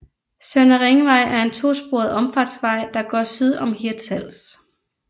Søndre Ringvej er en to sporet omfartsvej der går syd om Hirtshals